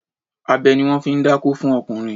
Abẹ ni wọ́n fi ń dákó fún ọkùnrin.